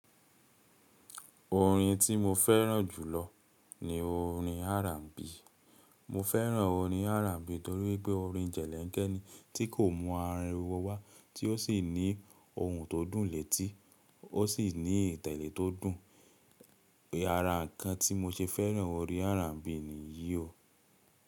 Orin tí mo fẹ́ràn jùlọ ni orin R&B. Mo fẹ́ràn orin R&B torí wipé orin jẹ̀lẹ̀ǹkẹ́ ni tí kò mú ariwo wá, tí ó sì ní ohùn tó dùn létí, ó sì ní ìtẹ̀lẹ́ tó dùn. Ara ǹkan tí mo ṣe fẹ́ràn orin R&B ni yìí o.